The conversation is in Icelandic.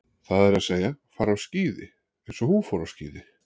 Það er að segja, fara á skíði eins og hún fór á skíði.